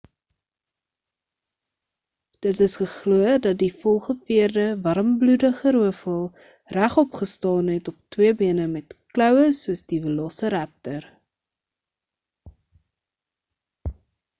dit is geglo dat die volgeveerde warmbloedige roofvoël regop gestaan het op twee bene met kloue soos die velociraptor